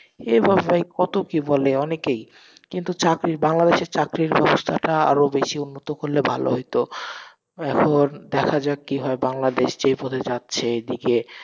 এই বাংলায় কত কি বলে অনেকেই, কিন্তু চাকরি, বাংলাদেশে চাকরির ব্যবস্থাটা আরো বেশি উন্নত করলে ভালো হইত এখন দেখা যাক কি হয়, বাংলাদেশ যে পদে যাচ্ছে এদিকে,